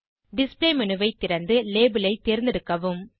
display menu ஐ திறந்து label ஐ தேர்ந்தெடுக்கவும்